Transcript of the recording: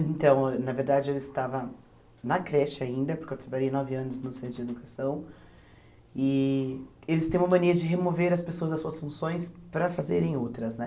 Então, na verdade, eu estava na creche ainda, porque eu trabalhei nove anos no centro de educação, e eles têm uma mania de remover as pessoas das suas funções para fazerem outras, né?